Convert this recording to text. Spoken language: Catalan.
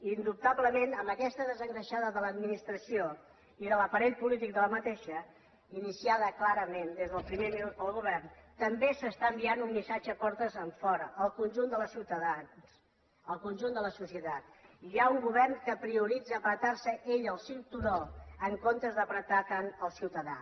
indubtablement amb aquesta desengreixada de l’administració i del seu aparell polític iniciada clarament des del primer minut pel govern també s’està enviant un missatge portes enfora al conjunt dels ciutadans al conjunt de la societat hi ha un govern que prioritza ajustar se ell el cinturó en comptes d’ apretar tant el ciutadà